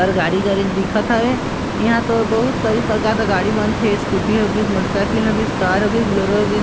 और गाड़ी च गाड़ी दिखत हवे इहा तो बहुत सरी प्रकार के गाड़ी बनथे स्कूटी होगिस मोटरसाइकिल होगिस कार होगिस बुलेरो होगिस।